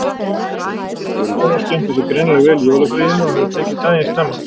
Elín og vinkonur hennar skemmtu sér greinilega vel í jólafríinu og höfðu tekið daginn snemma.